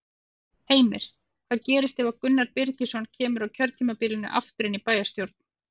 Heimir: Hvað gerist ef að Gunnar Birgisson kemur á kjörtímabilinu aftur inn í bæjarstjórn?